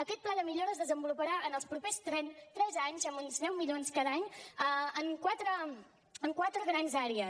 aquest pla de millora es desenvoluparà en els propers tres anys amb uns deu milions cada any en quatre grans àrees